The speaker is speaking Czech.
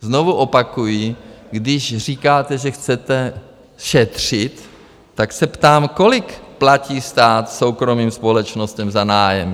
Znovu opakuji, když říkáte, že chcete šetřit, tak se ptám: Kolik platí stát soukromým společnostem za nájem?